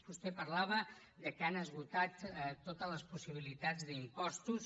vostè parlava que han esgotat totes les possibilitats d’impostos